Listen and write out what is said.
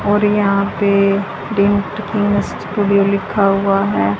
और यहां पे भी लिखा हुआ है।